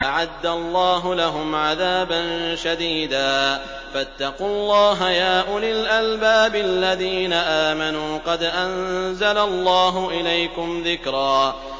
أَعَدَّ اللَّهُ لَهُمْ عَذَابًا شَدِيدًا ۖ فَاتَّقُوا اللَّهَ يَا أُولِي الْأَلْبَابِ الَّذِينَ آمَنُوا ۚ قَدْ أَنزَلَ اللَّهُ إِلَيْكُمْ ذِكْرًا